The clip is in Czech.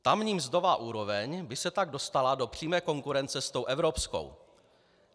Tamní mzdová úroveň by se tak dostala do přímé konkurence s tou evropskou.